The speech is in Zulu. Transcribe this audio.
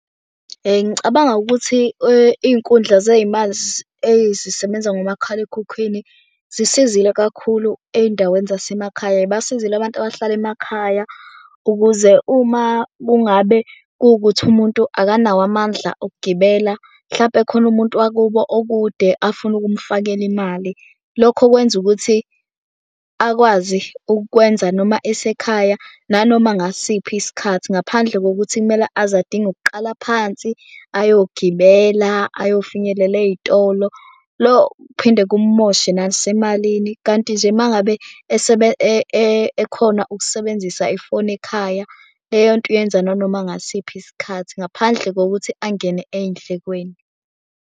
Ngicabanga ukuthi iy'nkundla zey'mali ezisebenza ngomakhalekhukhwini zisizile kakhulu ey'ndaweni zasemakhaya. Zibasizile abantu abahlala emakhaya ukuze uma kungabe kuwukuthi umuntu akanawo amandla okugibela, mhlawumpe khona umuntu wakubo okude afuna ukumfakela imali. Lokho kwenza ukuthi akwazi ukukwenza noma esekhaya nanoma ngasiphi isikhathi, ngaphandle kokuthi kumele aze adinga ukuqala phansi ayogibela ayofinyelela ey'tolo. Phinde kumoshe nasemalini kanti nje uma ngabe ekhona ukusebenzisa ifoni ekhaya leyo nto uyenza nanoma ngasiphi isikhathi ngaphandle kokuthi angene ey'ndlekweni.